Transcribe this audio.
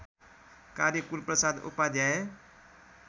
कार्य कुलप्रसाद उपाध्याय